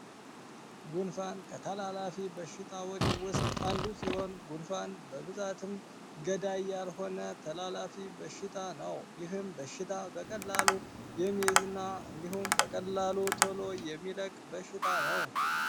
ጉንፋን ከተላላፊ በሽታዎች ውስጥ አንዱ ሲሆን ጉንፋን በብዛትም ገዳያር ሆነ ተላላፊ በሽታ ነው። ይህም በሽታ በቀላሉ የሚዝና እንዲሁም በቀላሉ ቶሎ የሚለቅ በሽታ ነው።